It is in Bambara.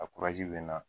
A bɛ na